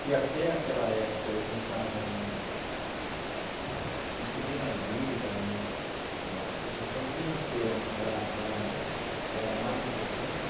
Se até aquela época eu pensava em em subir na vida, em a questão financeira era era era a mais importante,